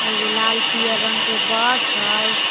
एगो लाल पियर रंग के बस हइ।